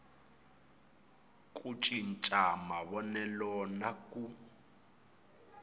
ku cinca mavonelo na ku